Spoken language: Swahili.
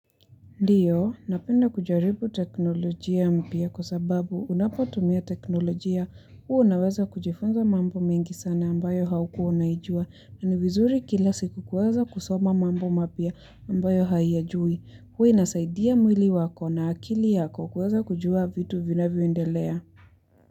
Ndiyo, napenda kujaribu teknolojia mpya kwa sababu unapotumia teknolojia huwa unaweza kujifunza mambo mengi sana ambayo haukuwa unaijua na ni vizuri kila siku kuweza kusoma mambo mapya ambayo hauyajui. Huwa inasaidia mwili wako na akili yako kuweza kujua vitu vinavyoendelea.